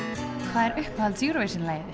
hvað er uppáhalds Eurovision lagið